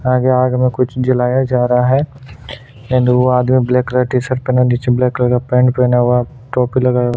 आगे आग में कुछ जलाया जा रहा है एंड वो आगे में ब्लैक टीशर्ट पहने है नीचे ब्लैक कलर पैंट पहना हुआ है टोपी लगाया हुआ है।